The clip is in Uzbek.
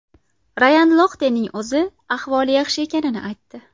Rayan Loxtening o‘zi ahvoli yaxshi ekanini aytdi.